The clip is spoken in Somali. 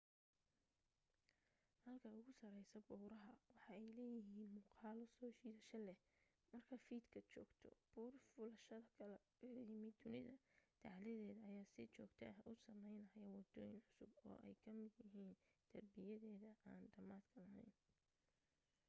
halka ugu sareysta baruuraha waxa ay leeyihiin muuqaalo soo jiidasho leh marka fiida joogto buur fuulayasha kakala yimid dunida dacaladeeda ayaa si joogta ah u sameynaya wadooyin cusub oo ay ka mid yihiin darbiyadeeda aan dhamaadka laheyn